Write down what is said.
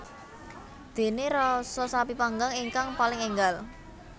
Dene rasa sapi panggang ingkang paling enggal